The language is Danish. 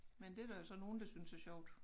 Men det der jo så nogen der synes er sjovt